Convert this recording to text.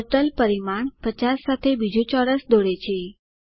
turtle પરિમાણ 50 સાથે બીજુ ચોરસ દોરે છે